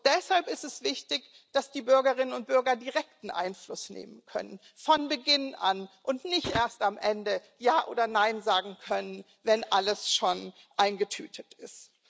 Deshalb ist es wichtig, dass die Bürgerinnen und Bürger direkten Einfluss nehmen können von Beginn an und nicht erst am Ende Ja oder Nein sagen können, wenn alles schon eingetütet ist.